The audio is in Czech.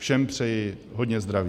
Všem přeji hodně zdraví.